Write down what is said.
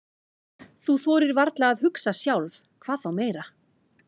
Þú þorir varla að hugsa sjálf, hvað þá meira.